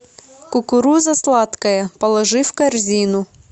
кукуруза сладкая положи в корзину